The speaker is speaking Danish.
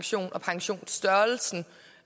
så